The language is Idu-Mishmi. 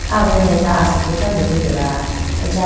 aao done asipi tando litela.